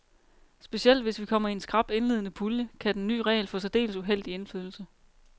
Specielt hvis vi kommer i en skrap indledende pulje, kan den ny regel få særdeles uheldig indflydelse.